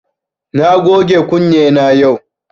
Na goge kunne na yau